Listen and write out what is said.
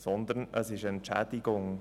Vielmehr ist es eine Entschädigung.